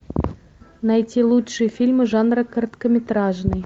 найти лучшие фильмы жанра короткометражный